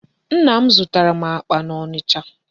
Nna m zụtara akpa n'Ọnịcha.